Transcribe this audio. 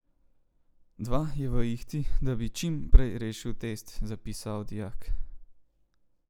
Dva, je v ihti, da bi čim prej rešil test, zapisal dijak.